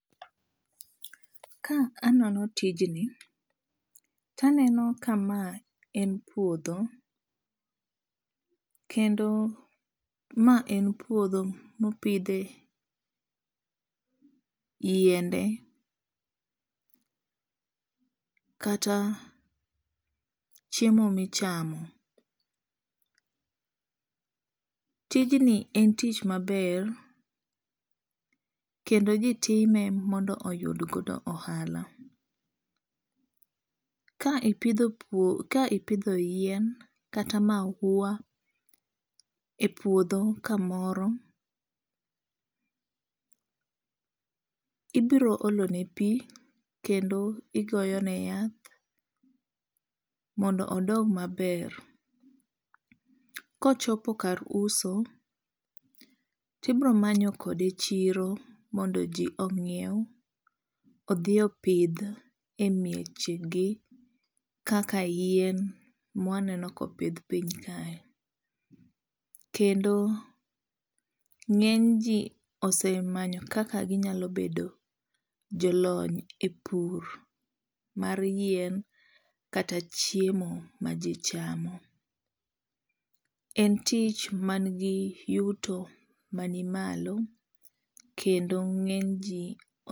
Ka anono tijni taneno ka ma en puodho. Kendo ma en puodho mopidhe yiende kata chiemo michamo. Tijni en tich maber kendo ji time mondo oyud godo ohala. Ka ipidho yien kata mahuwa e puodho kamoro ibiro olo ne pi kendo igoyone yath mondo odong maber. Kochopo kar uso, tibiro manyo kode chiro mondo ji ong'iew odhi opidh e mieche gi kaka yien mwaneno kopidh piny kae. Kendo ng'eny ji oosemanyo kaka ginyalo bedo jolony e pur mar yien kata chiemo ma ji chamo. En tich man gi yuto mani malo kendo ng'eny ji